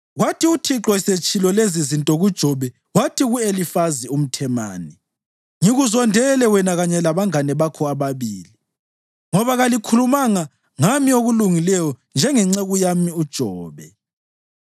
Kwathi uThixo esetshilo lezizinto kuJobe wathi ku-Elifazi umThemani, “Ngikuzondele wena kanye labangane bakho bobabili, ngoba kalikhulumanga ngami okulungileyo njengenceku yami uJobe.